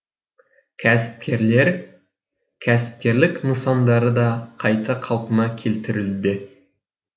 кәсіпкерлік нысандары да қайта қалпына келтірілуде